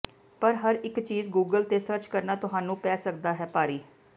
ਪਰ ਹਰ ਇੱਕ ਚੀਜ਼ ਗੂਗਲ ਤੇ ਸਰਚ ਕਰਨਾ ਤੁਹਾਨੂੰ ਪੈ ਸਕਦਾ ਹੈ ਭਾਰੀ